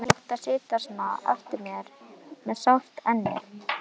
Ömurlegt að sitja svona eftir með sárt ennið.